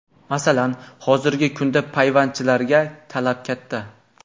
Masalan, hozirgi kunda payvandchilarga talab katta.